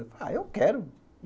Ah, eu quero.